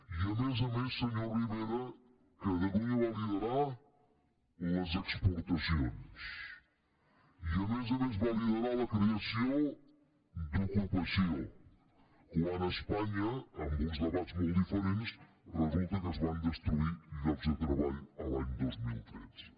i a més a més senyor rivera catalunya va liderar les exportacions i a més a més va liderar la creació d’ocupació quan a espanya amb uns debats molt diferents resulta que es van destruir llocs de treball l’any dos mil tretze